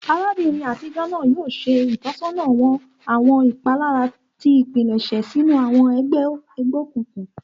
Arabinrin atijọ naa yoo ṣe itọsọna wa awọn ipalara ti ipilẹṣẹ sinu awọn ẹgbẹ egbeokunkun.